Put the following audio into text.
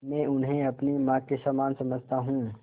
मैं उन्हें अपनी माँ के समान समझता हूँ